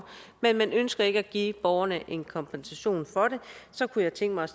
men man ønsker ikke at give borgerne en kompensation for det så kunne jeg tænke mig